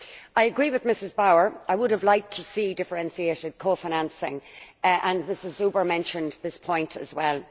I agree with Ms Bauer, I would have liked to see differentiated co financing, and Ms Zuber mentioned this point as well.